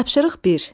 Tapşırıq bir.